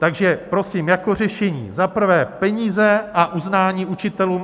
Takže prosím jako řešení za prvé peníze a uznání učitelům.